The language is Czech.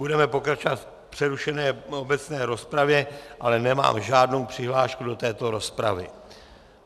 Budeme pokračovat v přerušené obecné rozpravě, ale nemám žádnou přihlášku do této rozpravy.